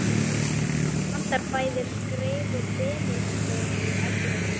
Nú vantar bæði skreið og brennistein í Evrópu.